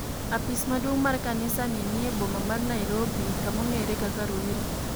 Apis maduong' mar kanisa ni nie boma mar Nairobi kamong'ere kaka Ruiru.